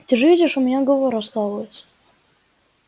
ты же видишь у меня голова раскалывается